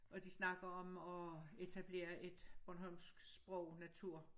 Og de snakker om at etablere et bornholmsk sprog natur